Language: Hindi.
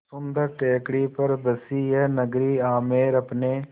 सुन्दर टेकड़ी पर बसी यह नगरी आमेर अपने